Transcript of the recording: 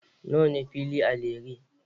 Nawa ne fili a Lere?